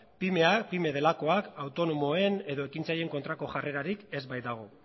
pymeak delakoak autonomoen edo ekintza horien kontrako jarrerarik ez baitago